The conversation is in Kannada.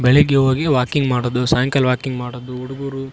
ಬೆಳಗ್ಗೆ ಹೋಗಿ ವಾಕಿಂಗ್ ಮಾಡುದು ಸಯಂಕಾಲ ವಾಕಿಂಗ್ ಮಾಡುದು ಹುಡುಗ್ರು.